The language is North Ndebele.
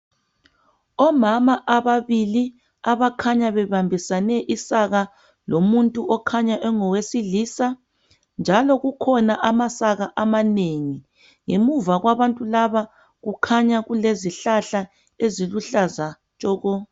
Omama ababili abakhanya bebambisane isaka lomuntu okhanya engowesilisa njalo kukhona amasaka amanengi ngemuva kwabantu laba kukhanya kulezihlahla eziluhlaza tshoko